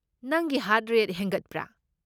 ꯅꯪꯒꯤ heart rate ꯍꯦꯟꯒꯠꯄ꯭ꯔꯥ?